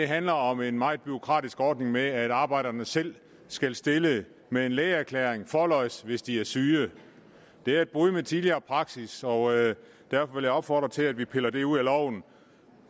handler om en meget bureaukratisk ordning med at arbejderne selv skal stille med en lægeerklæring forlods hvis de er syge det er et brud med tidligere praksis og derfor vil jeg opfordre til at vi piller det ud af loven